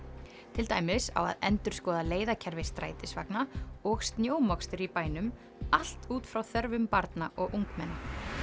til dæmis á að endurskoða leiðakerfi strætisvagna og snjómokstur í bænum allt út frá þörfum barna og ungmenna